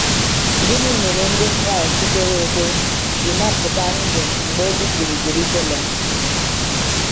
Gịnị mere Ndị Kraịst kwere ekwe ji napụta ndụ mgbe e bibiri Jerusalem?